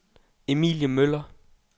Emilie Møller